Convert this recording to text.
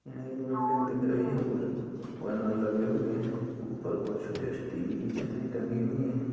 एक बिल्‌डिग दिख रही है। कुछ बैनर लगे हुए हैं। ऊपर कुछ डिश टीवी की छतरी टंगी हुई है।